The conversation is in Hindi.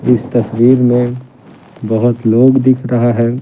इस तस्वीर में बहुत लोग दिख रहा है।